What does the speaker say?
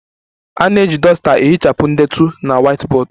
A na-eji duster ehichapụ ndetu na whiteboard